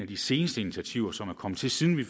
de seneste initiativer som er kommet til siden vi